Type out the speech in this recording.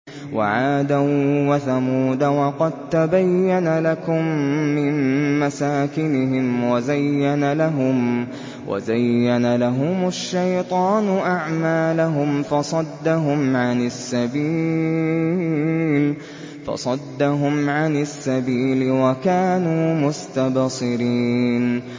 وَعَادًا وَثَمُودَ وَقَد تَّبَيَّنَ لَكُم مِّن مَّسَاكِنِهِمْ ۖ وَزَيَّنَ لَهُمُ الشَّيْطَانُ أَعْمَالَهُمْ فَصَدَّهُمْ عَنِ السَّبِيلِ وَكَانُوا مُسْتَبْصِرِينَ